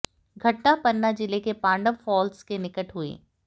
घटना पन्ना जिले के पांडव फाल्स के निकट हुई